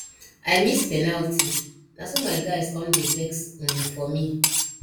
i miss penalty naso my guys come dey vex um for me